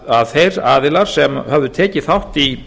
að þeir aðilar sem höfðu tekið þátt í